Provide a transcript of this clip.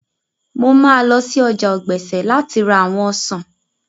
Mo máa lọ sí ọjà ọ̀gbẹ̀sẹ̀ láti ra àwọn ọsàn